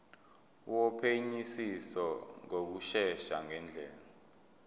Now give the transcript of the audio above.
wophenyisiso ngokushesha ngendlela